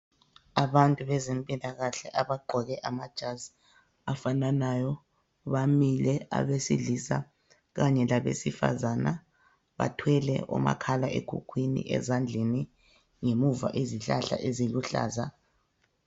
Abantu bezempilakahle abagqoke amajazi afananayo bamile, abesilisa kanye labesifazane, bathwele omakhala ekhukhwini ezandleni. Ngemuva izihlahla eziluhlaza.